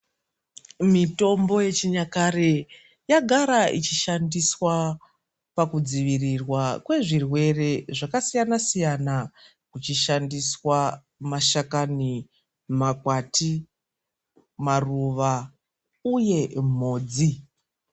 Mitombo yechinyakare yagara ichishandiswa pakudzivirirwa kwezvirwere zvakasiyana siyana kuchishandiswa mashakani, makwati ,maruva uye mhodzi.